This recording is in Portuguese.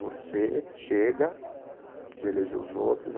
Você, chega de eleger os outros.